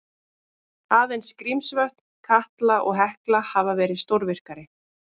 Aðeins Grímsvötn, Katla og Hekla hafa verið stórvirkari.